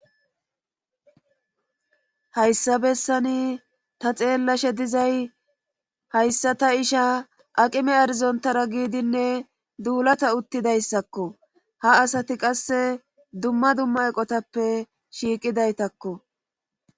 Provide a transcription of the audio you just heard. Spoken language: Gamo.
Hayssa bessani ta xeellashe dizay hayssa ta isha aqime arizontara giidinne duulata uttidayssakko ha asati qasse dumma dumma eqotappe shiiqidaytakko.